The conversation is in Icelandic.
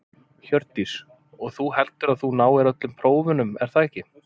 Hjördís: Og þú, heldurðu að þú náir öllum prófunum er það ekki?